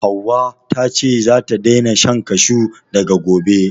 Hauwa ta ce zata daina shan kashu daga gobe